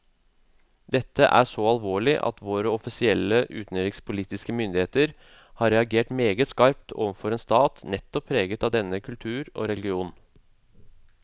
Dette er så alvorlig at våre offisielle utenrikspolitiske myndigheter har reagert meget skarpt overfor en stat nettopp preget av denne religion og kultur.